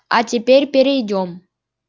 а теперь перейдём